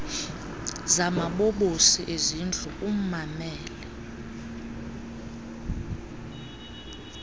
zamabobosi ezindlu ummamele